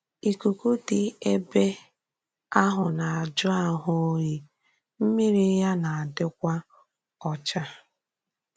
Íkùkù dị́ èbè ahụ na-ajụ́ àhụ́ òyì, m̀mírí ya na-adịkwà ọ́chá.